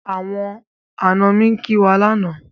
Àwọn àna mi ní kín wá lánàá.